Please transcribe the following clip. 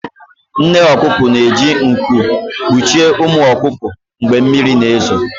Nne ọkụkọ na-eji nku kpuchie ụmụ ọkụkọ mgbe mmiri na-ezo